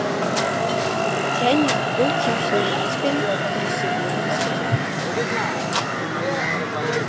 және бұл кемшілігіңіз бен күресе білуіңіз қажет